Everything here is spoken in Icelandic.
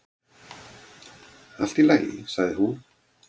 """Allt í lagi, sagði hún."""